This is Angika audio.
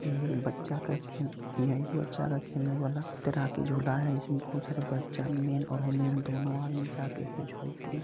ये एक बच्चा का खेल यह एक बच्चा का खेलने वाला अनेक तरह का झूला है इसमें बहुत सारा बच्चा मैन और वूमेन दोनों आदमी जा के उस पर झूलते हैं।